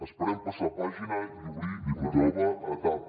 esperem passar pàgina i obrir una nova etapa